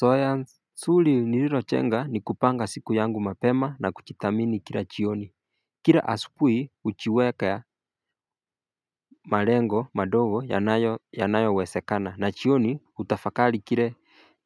Zoea nzuri nililojenga ni kupanga siku yangu mapema na kujithamini kila jioni Kila asubuhi, hujiweka malengo madogo yanayo yanayo wezekana na jioni kutafakari kile